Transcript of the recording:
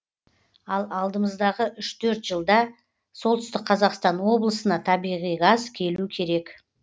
ал алдымыздағы үш төрт жылда солтүстік қазақстан облысына табиғи газ келу керек